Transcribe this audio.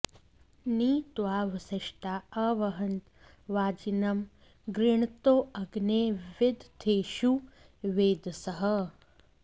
नि त्वा वसिष्ठा अह्वन्त वाजिनं गृणन्तो अग्ने विदथेषु वेधसः